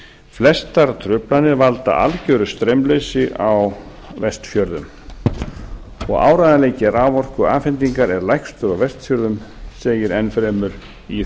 flestar truflanir valda algjöru straumleysi á vestfjörðum og áreiðanleiki raforkuafhendingar er lægstur á vestfjörðum segir enn fremur í